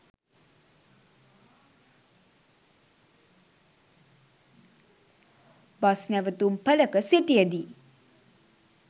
bus නැවතුම්පළක සිටියදී